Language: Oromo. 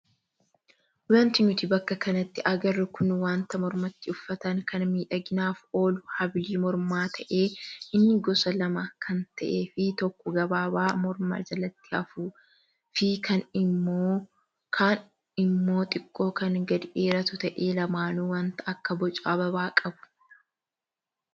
Wanti nuti bakka kanatti agarru kun wanta mormatti uffatan kan miidhaginaaf oolu habilii mormaa ta'ee inni gosa lama kan ta'ee fi tokko gabaabaa morma jalatti hafuu fi kaan immoo xiqqoo kan gadi dheeratu ta'ee lamaanuu wanta akka boca ababaa qabu.